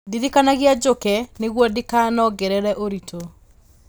Ndirikanagia njũke nĩguo ndikanongerere ũritũ